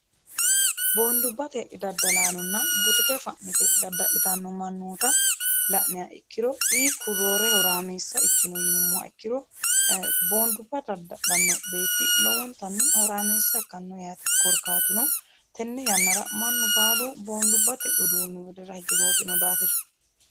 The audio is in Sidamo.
boondubbate daddalaanonna butike fa'nite dadda'litanno mannoota la'niya ikkiro hiikku roore horaameessa ikkino yinummoha ikkiro boondubba dadda'dhanno beetti lomontanni horaamiissa ikkanno yaate korkaatuno tenne yannara mannu baalu boondubbate uduunni widira hige goofino daafira